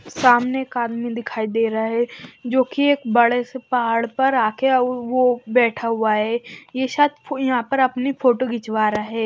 सामने एक आदमी दिखाई दे रहा है जो कि एक बड़े से पहाड़ पर आके वो बैठा हुआ है यह शायद यहां पर अपनी फोटो खिंचवा रहा है।